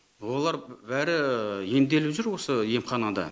олар бәрі емделіп жүр осы емханада